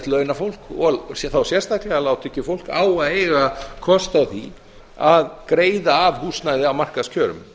launafólk sé þá sérstaklega lágtekjufólk á að eiga kost á því að greiða af húsnæði á markaðskjörum